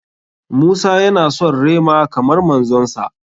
Musa ya na son rema kamar manzon sa.